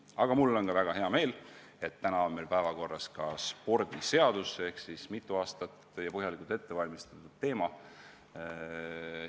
Aga mul on väga hea meel, et täna on meil päevakorras ka spordiseaduse muutmine ehk siis mitu aastat ja põhjalikult ette valmistatud teema.